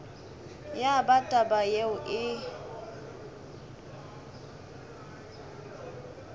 ya ba taba yeo e